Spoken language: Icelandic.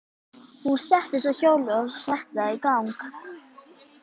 Hún settist á hjólið og setti það í gang.